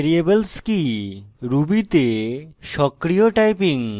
variables কি ruby তে সক্রিয় typing